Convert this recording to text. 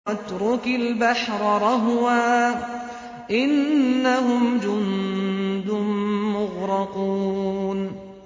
وَاتْرُكِ الْبَحْرَ رَهْوًا ۖ إِنَّهُمْ جُندٌ مُّغْرَقُونَ